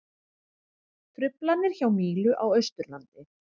Truflanir hjá Mílu á Austurlandi